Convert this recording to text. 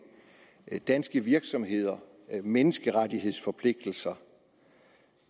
danske virksomheder menneskerettighedsforpligtelser